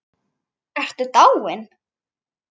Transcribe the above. Ertu dáin?